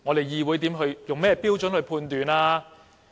議會用甚麼標準判斷呢？